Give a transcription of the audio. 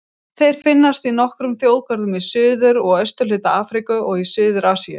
Þeir finnast í nokkrum þjóðgörðum í suður- og austurhluta Afríku og í suður-Asíu.